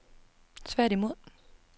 tværtimod